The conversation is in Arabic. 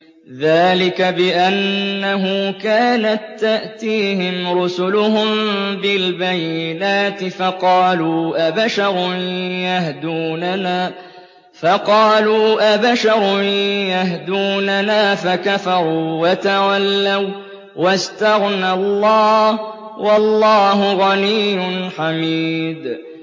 ذَٰلِكَ بِأَنَّهُ كَانَت تَّأْتِيهِمْ رُسُلُهُم بِالْبَيِّنَاتِ فَقَالُوا أَبَشَرٌ يَهْدُونَنَا فَكَفَرُوا وَتَوَلَّوا ۚ وَّاسْتَغْنَى اللَّهُ ۚ وَاللَّهُ غَنِيٌّ حَمِيدٌ